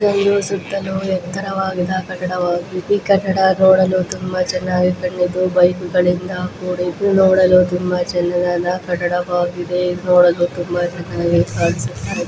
ಇದರಲ್ಲಿ ಸುತ್ತಲೂ ಎತ್ತರವಾದ ಕಟ್ಟಡ ಈ ಕಟ್ಟಡ ನೋಡಲು ಚೆನ್ನಾಗಿ ಕಂಡಿದ್ದುಈ ಕಟ್ಟಡ ನೋಡಲು ತುಂಬಾ ಚೆನ್ನಾಗಿ ಕಂಡಿದ್ದು ಕೂಡಿದ್ದು ನೋಡಲು ತುಂಬಾ ನೋಡಲು ತುಂಬಾ ಎತ್ತರವಾಗಿ ಕಾಣಿಸುತ್ತಾ ಇದೆ